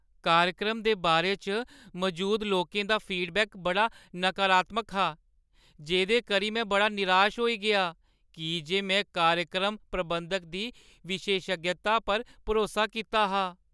कार्यक्रम दे बारे च मजूद लोकें दा फीडबैक बड़ा नकारात्मक हा, जेह्दे करी में बड़ा निराश होई गेआ की जे में कार्यक्रम प्रबंधक दी विशेषज्ञता पर भरोसा कीता हा।